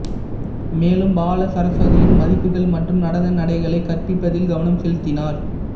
மேலும் பாலசரஸ்வதியின் மதிப்புகள் மற்றும் நடன நடைகளை கற்பிப்பதில் கவனம் செலுத்தினார்